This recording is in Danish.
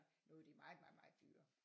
Nu de meget meget meget dyrere